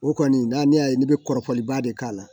O kɔni n'a ne y'a ye ne bɛ kɔrɔfɔliba de k'a la